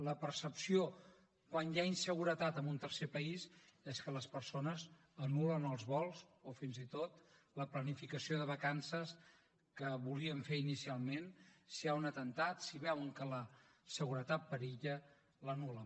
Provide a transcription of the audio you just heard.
la percepció quan hi ha inseguretat en un tercer país és que les persones anul·len els vols o fins i tot la planificació de vacances que volien fer inicialment si hi ha un atemptat si veuen que la seguretat perilla l’anul·len